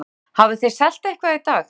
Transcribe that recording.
Hugrún: Hafið þið selt eitthvað í dag?